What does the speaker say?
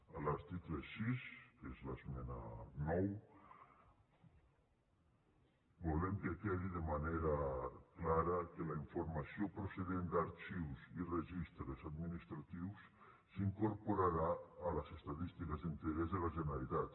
a l’article sis que és l’esmena nou volem que quedi de manera clara que la informació procedent d’arxius i registres administratius s’incorporarà a les estadístiques d’interès de la generalitat